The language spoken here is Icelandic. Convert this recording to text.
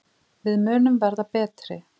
Við munum verða betri.